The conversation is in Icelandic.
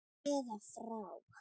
eða frá.